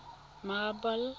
marble